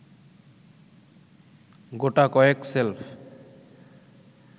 গোটাকয়েক shelf